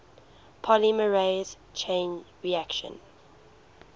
polymerase chain reaction